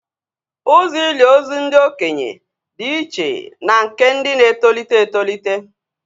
Ụzọ ili ozu ndị okenye dị iche na nke ndị na-etolite etolite